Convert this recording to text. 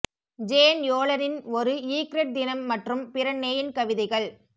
Jane யோலனின் ஒரு egret தினம் மற்றும் பிற நேயன் கவிதைகள்